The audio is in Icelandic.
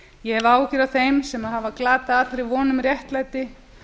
ég hef áhyggjur af þeim sem hafa glatað von um réttlæti